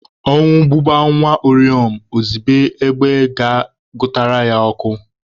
Ọnwụ gụba nwa uriom, ozibe egbe ga-gụtara ya ọkụ.